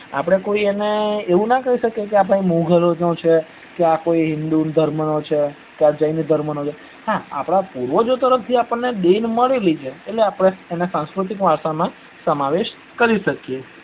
આપડે કોઈ એને એવું ના કઇ શકીએ કે આ ભાઈ મોગલો નો છ કે આ હિંદુ ધર્મ નો છે ક જૈન ધર્મ નો છે હા આપડા પૂર્વજો તરફથી દેન મળેલી છે તો આપડે સાંસ્કૃતિક વારસા માં સમાવેશ કરી શકીએ